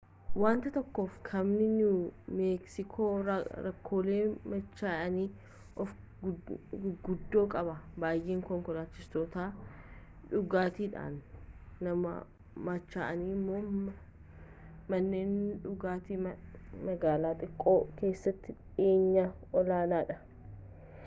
waanta tokkoof kaabni niiwu meeksikoo rakkoolee machaa'anii oofuu guguddoo qaba baay'inni konkolaachistoota dhugaatiidhaan machaa'anii immoo manneen dhugaatii magaalaa xiqqoo keessatti dhiyeenyaan olaanaadha